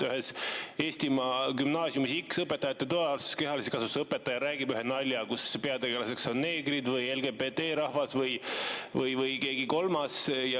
Ühes Eestimaa gümnaasiumis X õpetajate toas kehalise kasvatuse õpetaja räägib ühe nalja, kus peategelaseks on neegrid või LGBT‑rahvas või keegi kolmas.